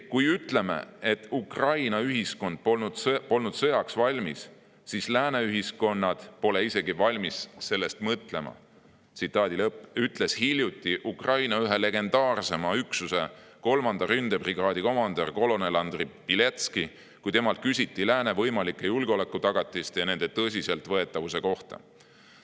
"Kui ütleme, et Ukraina ühiskond polnud sõjaks valmis, siis lääne ühiskonnad pole isegi valmis sellest mõtlema," ütles hiljuti Ukraina ühe legendaarsema üksuse, 3. ründebrigaadi komandör kolonel Andri Bieletskõi, kui temalt küsiti lääne võimalike julgeolekutagatiste ja nende tõsiseltvõetavuse kohta.